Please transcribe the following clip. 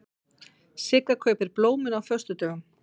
Sigga kaupir blómin á föstudögum.